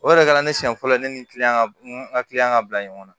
O yɛrɛ kɛra ne siɲɛ fɔlɔ ye ne ni n ka ka bila ɲɔgɔn na